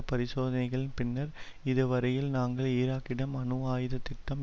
பரிசோதனைகளின் பின்னர் இதுவரையில் நாங்கள் ஈராக்கிடம் அணுஆயுத திட்டம்